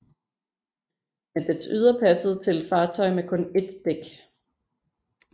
Men dets ydre passede til et fartøj med kun ét dæk